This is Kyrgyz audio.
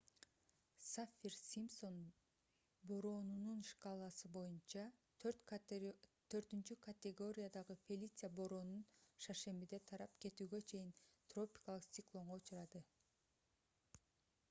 саффир-симпсон бороонунун шкаласы боюнча 4-категориядагы фелиция бороону шаршембиде тарап кетүүгө чейин тропикалык циклонго учурады